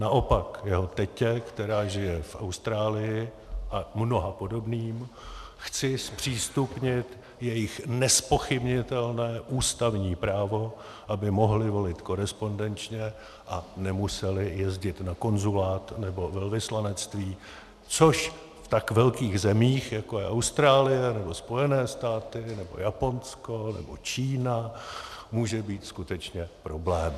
Naopak, jeho tetě, která žije v Austrálii, a mnoha podobným chci zpřístupnit jejich nezpochybnitelné ústavní právo, aby mohli volit korespondenčně a nemuseli jezdit na konzulát nebo velvyslanectví, což v tak velkých zemích, jako je Austrálie nebo Spojené státy nebo Japonsko nebo Čína, může být skutečně problém.